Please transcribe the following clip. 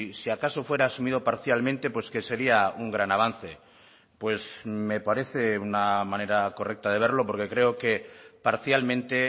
si acaso fuera asumido parcialmente pues que sería un gran avance pues me parece una manera correcta de verlo porque creo que parcialmente